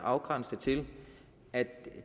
afgrænse det til at